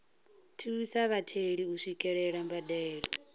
thusa vhatheli u swikelela mbadelo